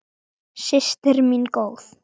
Systir mín góð.